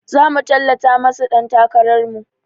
Zamu tallata masu ɗan takarar mu